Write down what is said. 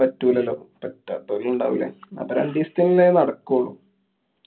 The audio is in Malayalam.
പറ്റൂലല്ലോ. പറ്റാത്തോരും ഇണ്ടാവൂല്ലേ? അപ്പൊ രണ്ടീസത്തിനുള്ളതേ നടക്കൊള്ളൂ.